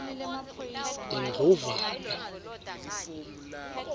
indlovana